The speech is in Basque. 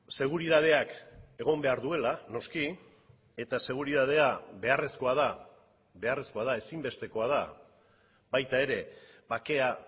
seguritateak egon behar duela noski eta seguritatea beharrezkoa da beharrezkoa da ezinbestekoa da baita ere bakea